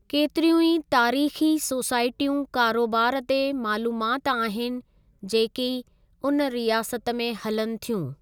केतिरियूं ई तारीख़ी सोसाइटियूं कारोबारु ते मालूमात आहिनि जेकी उन रियासत में हलनि थियूं।